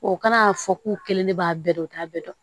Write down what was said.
O kana a fɔ k'u kelen ne b'a bɛɛ dɔn u t'a bɛɛ dɔn